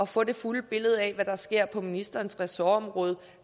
få det fulde billede af hvad der sker på ministerens ressortområde